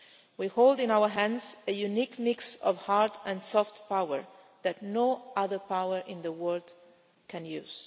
We hold in our hands a unique mix of hard and soft power that no other power in the world can use.